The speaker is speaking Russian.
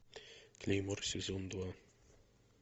клеймор сезон два